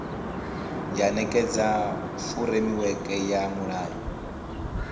ya nekedza furemiweke ya mulayo